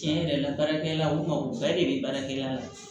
Tiɲɛ yɛrɛ la baarakɛla o kuma u bɛɛ de bɛ baarakɛla la